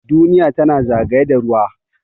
Duniya tana zagaye da ruwa.